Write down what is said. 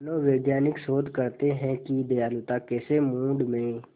मनोवैज्ञानिक शोध करते हैं कि दयालुता कैसे मूड में